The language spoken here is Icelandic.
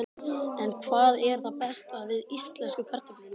En hvað er það besta við íslensku kartöflurnar?